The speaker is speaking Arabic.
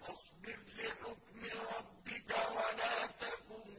فَاصْبِرْ لِحُكْمِ رَبِّكَ وَلَا تَكُن